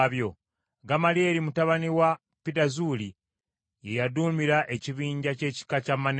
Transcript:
Gamalyeri mutabani wa Pidazuuli ye yaduumira ekibinja ky’ekika kya Manase;